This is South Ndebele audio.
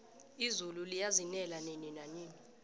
izulu liyazinela nini nanini